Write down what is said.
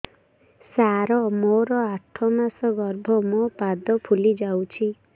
ସାର ମୋର ଆଠ ମାସ ଗର୍ଭ ମୋ ପାଦ ଫୁଲିଯାଉଛି